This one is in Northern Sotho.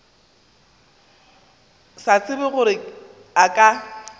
sa tsebe gore a ka